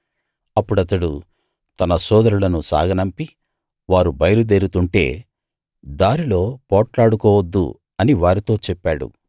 అప్పుడతడు తన సోదరులను సాగనంపి వారు బయలుదేరుతుంటే దారిలో పోట్లాడుకోవద్దు అని వారితో చెప్పాడు